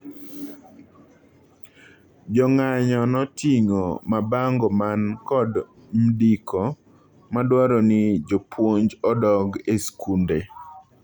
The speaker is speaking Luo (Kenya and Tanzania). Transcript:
Jong'anyo noting'o mabango man kod mdiko madwaroni jopuonj odog e skunde.